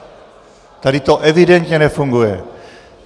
Tady to evidentně nefunguje.